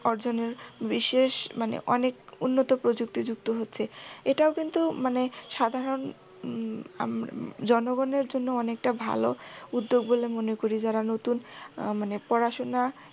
অর্জনের বিশেষ মানে অনেক উন্নত প্রযুক্তি যুক্ত হচ্ছে। এটাও কিন্তু মানে সাধারণ উম আম্ জ্নগণের জন্য অনেকটা ভালো উদ্যগ বলে মনে করি যারা নতুন আহ মানে পড়াশুনা